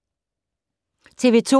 TV 2